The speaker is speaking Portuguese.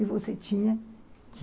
E você tinha que